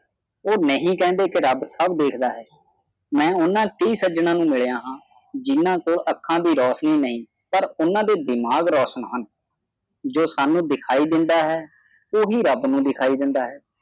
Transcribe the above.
ਉਹ ਨਹੀਂ ਕਹਿੰਦੇ ਕਿ ਰੱਬ ਸੱਬ ਵੇਖਦਾ ਹੈ ਮੈਂ ਉਨ੍ਹਾਂ ਵੀ ਸੱਜਣਾਂ ਨੂੰ ਮਿਲਿਆ ਹਾਂ ਜਿਨ੍ਹਾਂ ਕੋਲ ਅੱਖਾਂ ਦੀ ਰੌਸ਼ਨੀ ਨਹੀਂ ਪਰ ਉਨ੍ਹਾਂ ਦੇ ਦਿਮਾਗ ਰੋਸ਼ਨ ਹਨ ਜੋ ਸਾਨੂੰ ਦਿਖਾਈ ਦਿੰਦਾ ਹੈ ਉਹੀ ਰੱਬ ਨੂੰ ਦਿਖਾਈ ਦਿੰਦਾ ਹੈ